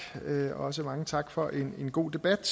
og også mange tak for en god debat